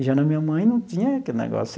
E já na minha mãe não tinha aquele negócio.